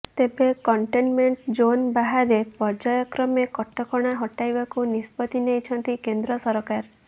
ତେବେ containment zone ବାହାରେ ପର୍ଯ୍ୟାୟକ୍ରମେ କଟକଣା ହଟାଇବାକୁ ନିଷ୍ପତ୍ତି ନେଇଛନ୍ତି କେନ୍ଦ୍ର ସରକାର